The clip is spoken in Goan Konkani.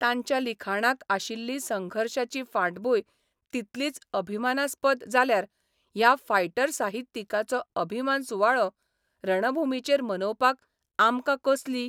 तांच्या लिखाणाक आशिल्ली संघर्शाची फाटभूंय तितलीच अभिमानास्पद जाल्यार ह्या फायटर साहित्यिकाचो अभिमान सुवाळो रणभुमीचेर मनोवपाक आमकां कसली